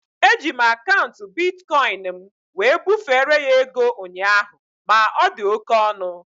Eji m akaụntụ bitkọin m wee bufere ya ego ụnyaahụ ma ọ dị oké ọnụ